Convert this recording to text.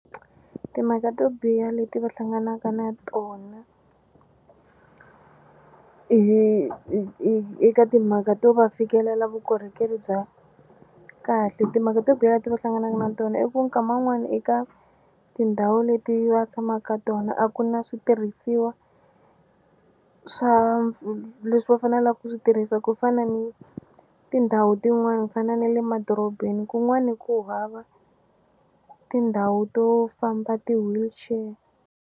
Timhaka to biha leti va hlanganaka na tona eka timhaka to va fikelela vukorhokeri bya kahle timhaka to biha leti va hlanganaka na tona i ku nkama wun'wani eka tindhawu leti va tshama ka tona a ku na switirhisiwa swa leswi va fanelaku ku swi tirhisa ku fana ni tindhawu tin'wani ku fana na le madorobeni kun'wani ku hava tindhawu to famba ti-wheelchair.